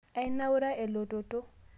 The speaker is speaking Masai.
ainaura elototo